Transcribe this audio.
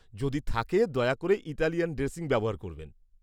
যদি থাকে, দয়া করে ইতালিয়ান ড্রেসিং ব্যবহার করবেন।